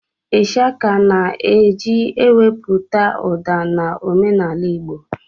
Ịshaka na-eji ewepụta ụda na omenaala igbo